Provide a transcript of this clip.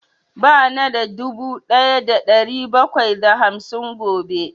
Ba na da dubu ɗaya da ɗari bakwai da hamsin gobe